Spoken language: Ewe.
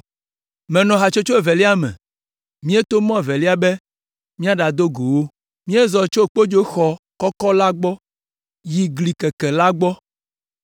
Menɔ hatsotso evelia me, míeto mɔ evelia be míaɖado go wo. Míezɔ tso Kpodzoxɔ Kɔkɔ la gbɔ yi Gli Keke la gbɔ,